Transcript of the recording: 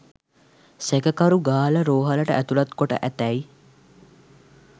සැකකරු ගාල්ල රෝහලට ඇතුලත් කොට ඇතැයි